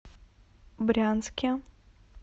брянске